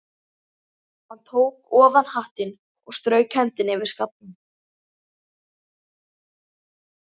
Hann tók ofan hattinn og strauk hendinni yfir skallann.